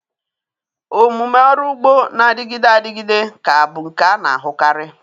Omume ọrụ ugbo na-adịgide adịgide ga-abụ nke a na-ahụkarị.